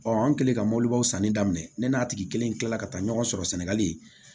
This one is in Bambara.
an kɛlen ka mobilibaw sanni daminɛ ne n'a tigi kelen kilala ka taa ɲɔgɔn sɔrɔ sɛnɛgali